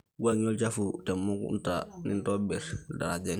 wuangie olchafu temukunta nintobir ildarajani